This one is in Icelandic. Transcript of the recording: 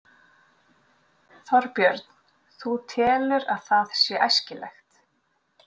Þorbjörn: Þú telur að það sé æskilegt?